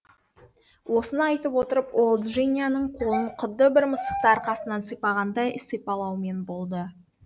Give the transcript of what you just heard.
осыны айтып отырып ол джинияның қолын құдды бір мысықты арқасынан сипағандай сипалаумен болды